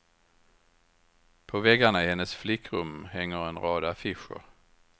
På väggarna i hennes flickrum hänger en rad affischer.